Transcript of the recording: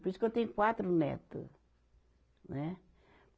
Por isso que eu tenho quatro neto, né.